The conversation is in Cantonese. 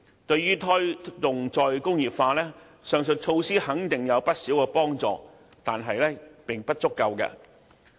對於推動"再工業化"，該等措施肯定有不少幫助，但仍不足夠。